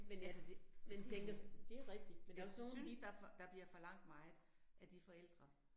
Altså det helt vildt. Jeg synes, der der bliver forlangt meget af de forældre